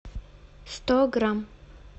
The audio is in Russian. сто грамм